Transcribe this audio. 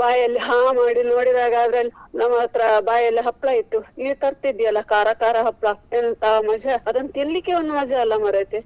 ಬಾಯಲ್ಲಿ ಹಾ ಮಾಡಿ ನೋಡಿದಾಗ ನಮ್ ಹತ್ರ ಬಾಯಲ್ಲಿ ಹಪ್ಳ ಇತ್ತು. ನೀನೇ ತರ್ತಿದ್ದಿ ಅಲ್ಲ ಕಾರ ಕಾರ ಹಪ್ಳ ಎಂತಾ ಮಜಾ ಅದನ್ನು ತಿನ್ಲಿಕ್ಕೆ ಒಂದು ಮಜಾ ಅಲ್ಲ ಮಾರೆತಿ.